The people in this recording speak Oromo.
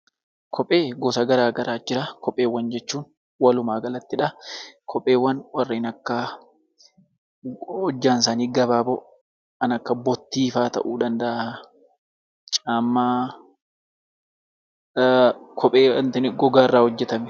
Kophee gosa garaagaraatu jira. Kopheewwan jechuun walumaa galattidha. Kopheewwan warreen akka hojjaan isaanii gabaaboo kan bottii fa'aa ta'uu danda'a. Kopheen gogaarraa hojjatama.